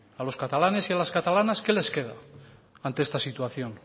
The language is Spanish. a los catalanes y a las catalanas que les queda ante esta situación